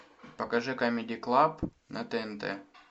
покажи камеди клаб на тнт